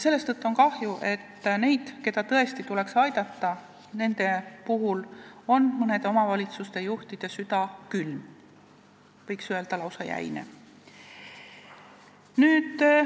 Seetõttu on kahju, et nende vastu, keda tõesti tuleks aidata, on mõne omavalitsuse juhtide süda külm, võiks öelda, et lausa jäine.